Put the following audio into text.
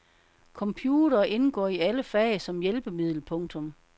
Computere indgår i alle fag som hjælpemiddel. punktum